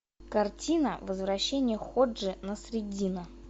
картина возвращение ходжи насреддина